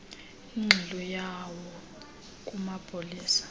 ingxelo yawo kumapolisa